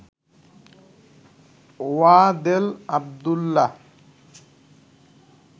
Wadel Abdullah